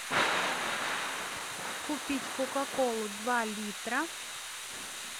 купить кока колу два литра